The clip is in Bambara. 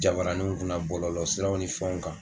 Jabaraninw kunna bɔlɔlɔ siraw ni fɛnw kan